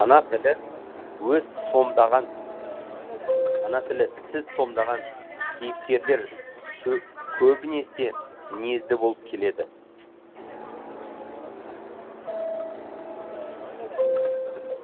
ана тілі өз сомдаған ана тілі сіз сомдаған кейіпкерлер көбінесе мінезді болып келеді